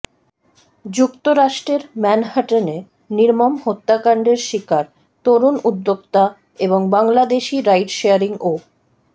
যুক্তরাষ্ট্রের ম্যানহাটনে নির্মম হত্যাকাণ্ডের শিকার তরুণ উদ্যোক্তা এবং বাংলাদেশি রাইড শেয়ারিং অ্